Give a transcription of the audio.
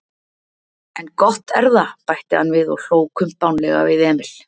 En gott erða, bætti hann við og hló kumpánlega við Emil.